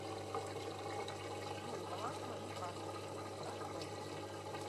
джой баланс моей карты газпром